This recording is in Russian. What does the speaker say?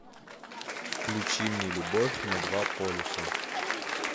включи мне любовь на два полюса